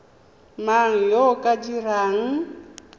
mang yo o ka dirang